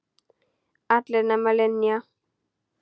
Allar nema Linja.